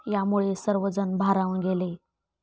यामुळे सर्वजण भारावून गेले.